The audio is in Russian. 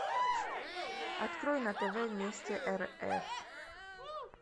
открой на тв вместе рф